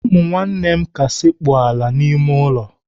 Ụmụnne m ka sekpuru ala n'ime ulo